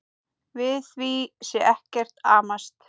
Við því sé ekkert amast.